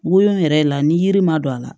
Woyo yɛrɛ la ni yiri ma don a la